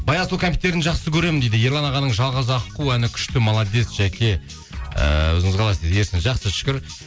баянсұлу кәмпиттерін жақсы көремін дейді ерлан ағаның жалғыз аққу әні күшті молодец жаке ііі өзіңіз қалайсыз дейді ерсін жақсы шүкір